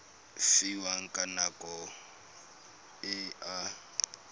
fiwang ka nako e a